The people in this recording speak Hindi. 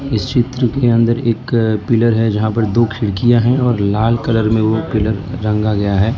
इस चित्र के अंदर एक पिलर है जहां पर दो खिड़कियां है और लाल कलर में वो पिलर रंगा गया है।